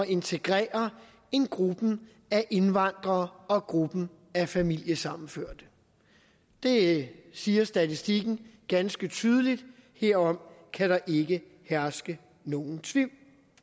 integrere end gruppen af indvandrere og gruppen af familiesammenførte det siger statistikken ganske tydeligt herom kan der ikke herske nogen tvivl